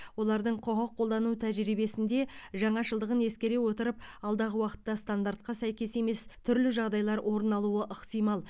олардың құқық қолдану тәжірибесінде жаңашылдығын ескере отырып алдағы уақытта стандартқа сәйкес емес түрлі жағдайлар орын алуы ықтимал